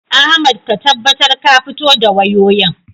Ahmad ka tabbatar ka fito da wayoyin.